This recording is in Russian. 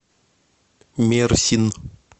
мерсин